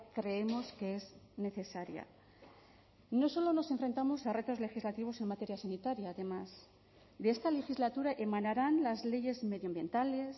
creemos que es necesaria no solo nos enfrentamos a retos legislativos en materia sanitaria además de esta legislatura emanarán las leyes medioambientales